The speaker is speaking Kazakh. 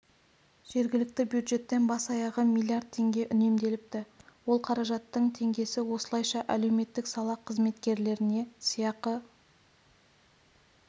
жергілікті бюджеттен бас-аяғы миллиард теңге үнемделіпті ол қаражаттың теңгесі осылайша әлеуметтік сала қызметкерлеріне сыйақы